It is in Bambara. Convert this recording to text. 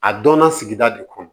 A dɔnna sigida de kɔnɔ